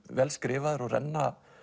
vel skrifaðir og renna